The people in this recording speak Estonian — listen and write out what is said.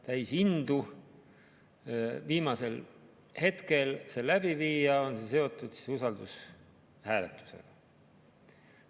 Täis indu viimasel hetkel see läbi viia, on see seotud usaldushääletusega.